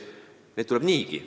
Neid tuleb niigi.